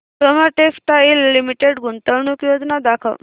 Soma textile limited गुंतवणूक योजना दाखव